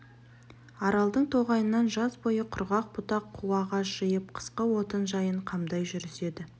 аралдың тоғайынан жаз бойы құрғақ бұтақ қу ағаш жиып қысқы отын жайын қамдай жүріседі